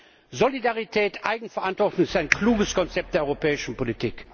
Insofern Solidarität und Eigenverantwortung ist ein kluges Konzept der europäischen Politik!